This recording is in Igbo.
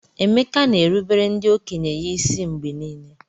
Emeka na-erubere ndị okenye ya isi mgbe niile.